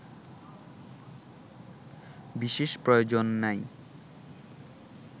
বিশেষ প্রয়োজন নাই